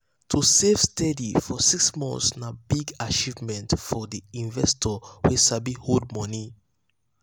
to save steady for six months na big achievement for the investor wey sabi hold money.